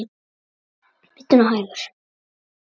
Bíddu nú hægur.